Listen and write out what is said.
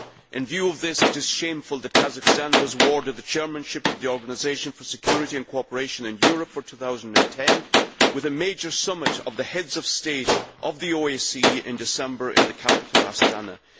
In view of this, it is shameful that Kazakhstan was awarded the chairmanship of the Organisation for Security and Cooperation in Europe for 2010, with a major summit of the Heads of State of the OSCE to be held in December in the capital, Astana.